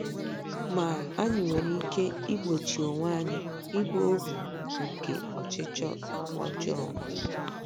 Ma, anyị nwere ike igbochi onwe anyị ịbụ ohu nke ọchịchọ ọjọọ.